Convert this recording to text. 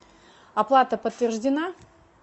оплата подтверждена